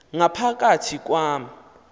ngapha kathi kwam